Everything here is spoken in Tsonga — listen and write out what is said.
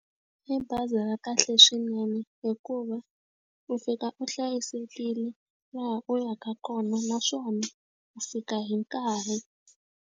I bazi ra kahle swinene hikuva, u fika u hlayisekile laha u yaka kona naswona u fika hi nkarhi.